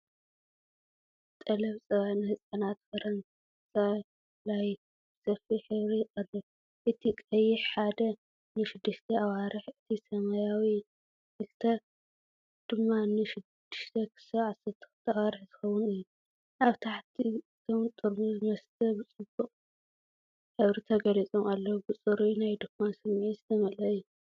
ጠለብ ጸባ ህጻናት ፈረንሳ ላይት ብሰፊሕ ሕብሪ ይቐርብ። እቲ ቀይሕ “1” ን0-6 ኣዋርሕ፡ እቲ ሰማያዊ “2” ድማ ን6-12 ኣዋርሕ ዝኸውን እዩ። ኣብ ታሕቲ እቶም ጥርሙዝ መስተ ብድሙቕ ሕብሪ ተገሊጾም ኣለዉ፤ ብጽሩይ ናይ ድኳን ስምዒት ዝተመልአ እዩ።